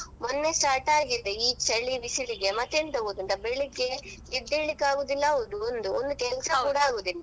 ಹೌದಾ ನಂದು ಒಂದುವಾರ ಆಯ್ತು ಮೊನ್ನೆ start ಆಗಿದೆ ಈ ಚಳಿ ಬಿಸಿಲಿಗೆ ಮತ್ತೆ ಎಂತ ಗೊತ್ತುಂಟಾ ಬೆಳ್ಳಿಗ್ಗೆ ಎದ್ದೆಳ್ಳಿಕ್ಕೆ ಆಗುದಿಲ್ಲಾ ಹೌದು ಒಂದು ಒಂದು ಕೆಲಸ ಕೂಡ ಅಗುದಿಲ್ಲಾ.